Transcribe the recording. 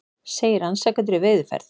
Segir rannsakendur í veiðiferð